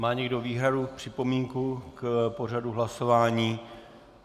Má někdo výhradu, připomínku k pořadu hlasování?